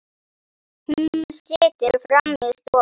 Hún situr frammi í stofu.